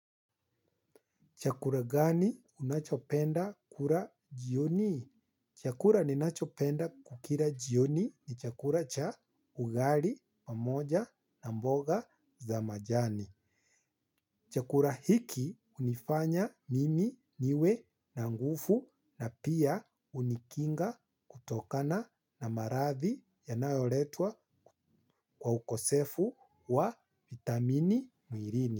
Chakula gani unachopenda kula jioni? Chakula ninachopenda kukila jioni ni chakula cha ugali pamoja na mboga za majani. Chakula hiki hunifanya mimi niwe na nguvu na pia hunikinga kutokana na maradhi yanayoletwa kwa ukosefu wa vitamini mwilini.